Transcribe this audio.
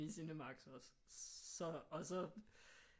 I CinemaxX og så og så